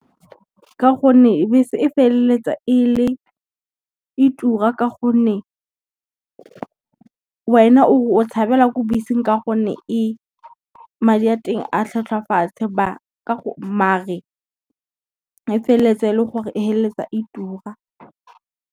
Ka gonne bese e feleletsa e tura ka gonne, wena o re o tshabela ko beseng ka gonne madi a teng a tlhwatlhwa a fatshe mare e feleletsa e le gore e feleletsa e tura.